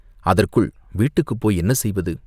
அதற்குள் வீட்டுக்குப் போய் என்ன செய்வது?